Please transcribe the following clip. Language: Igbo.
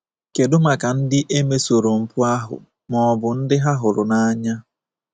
Kedụ maka ndị e mesoro mpụ ahụ ma ọ bụ ndị ha hụrụ n’anya?